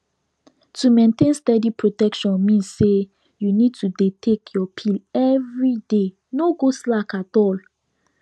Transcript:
to maintain steady protection mean say you need to dey take your pill everyday no go slack at all